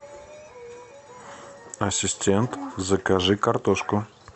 ассистент закажи картошку